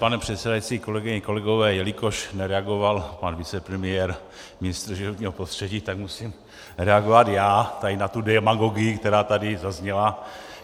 Pane předsedající, kolegyně, kolegové, jelikož nereagoval pan vicepremiér, ministr životního prostředí, tak musím reagovat já tady na tu demagogii, která tady zazněla.